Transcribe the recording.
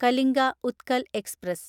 Kalinga Utkal express